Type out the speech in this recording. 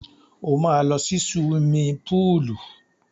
Ó máa lọ sí suwimi púùlù.